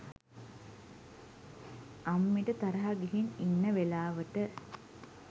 අම්මිට තරහා ගිහින් ඉන්න වෙලාවට